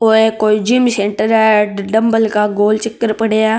ओ है कोई gym centre है डम्बल का गोलचक्र पड़ा --